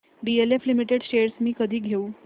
DLF limited shares मी कधी घेऊ